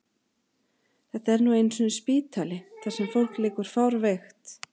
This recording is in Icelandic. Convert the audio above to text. Þetta er nú einu sinni spítali þar sem fólk liggur fárveikt.